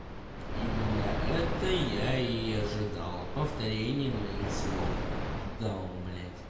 именно это я и ожидал повторение моих слов даун блядь